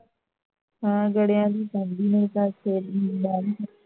ਹਾਂ ਕੜਿਆਂ ਦੀ ਪੈਂਦੀ ਨਹੀਂ ਇਸ ਕਰਕੇ